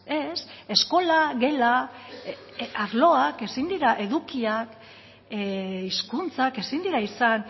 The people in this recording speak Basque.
ez eskola gela arloak ezin dira edukiak hizkuntzak ezin dira izan